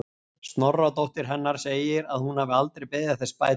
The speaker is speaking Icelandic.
Sonardóttir hennar segir að hún hafi aldrei beðið þess bætur.